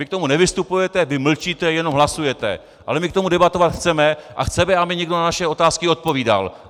Vy k tomu nevystupujete, vy mlčíte, jenom hlasujete, ale my k tomu debatovat chceme a chceme, aby někdo na naše otázky odpovídal.